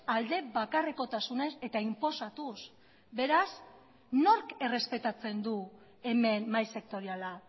alde bakarrekotasunez eta inposatuz beraz nork errespetatzen du hemen mahai sektoriala